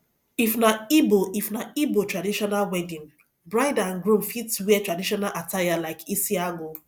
if na igbo if na igbo traditional wedding bride and groom fit wera tradition attire like isiagu